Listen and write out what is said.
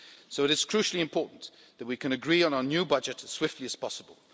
So it is crucially important that we can agree on our new budget as swiftly as possible.